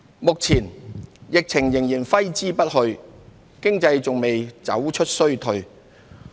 目前，疫情仍揮之不去，經濟還未走出衰退。